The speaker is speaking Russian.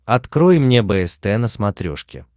открой мне бст на смотрешке